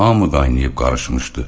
Hamı qaynayıb qarışmışdı.